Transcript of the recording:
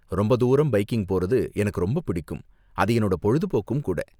ரொம்ப தூரம் பைக்கிங் போறது எனக்கு ரொம்ப பிடிக்கும், அது என்னோட பொழுதுபோக்கும் கூட.